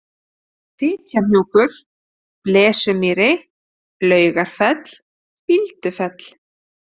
Fitjahnjúkur, Blesumýri, Laugarfell, Bíldufell